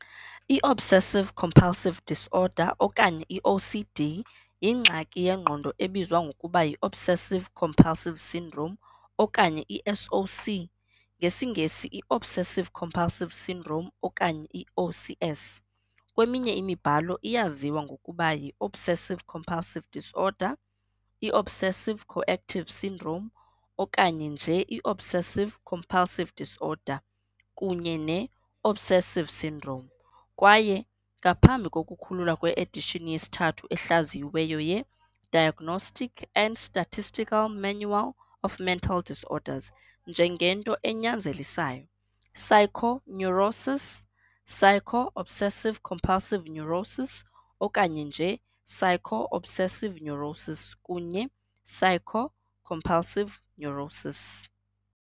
I-Obsessive-compulsive disorder okanye i-OCD yingxaki yengqondo ebizwa ngokuba yi-obsessive-compulsive syndrome okanye i-SOC, ngesiNgesi i-obsessive-compulsive syndrome okanye i-OCS.Kweminye imibhalo iyaziwa ngokuba yi "-obsessive-compulsive disorder", "i-obsessive-coactive syndrome" okanye nje i- "obsessive-compulsive disorder" kunye ne "-obsessive syndrome" kwaye, ngaphambi kokukhululwa kwe-edition yesithathu ehlaziyiweyo ye-"Diagnostic and Statistical Manual of Mental Disorders", njengento "enyanzelisayo., psycho, neurosis", "psycho, obsessive-compulsive neurosis" okanye nje "psycho, obsessive neurosis" kunye "psycho, compulsive neurosis".